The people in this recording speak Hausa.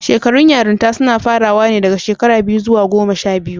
Shekarun yarinta suna farawa ne daga shekara biyu zuwa goma sha biyu.